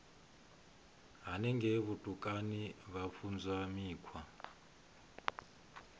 henengei vhutukani vha funzwa mikhwa